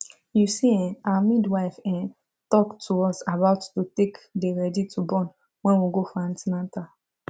you see[um]our midwife ehm talk to us about to take dey ready to born wen we go for an ten atal